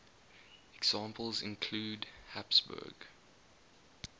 examples include habsburg